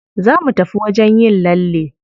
Za mu tafi wajen yin lalle.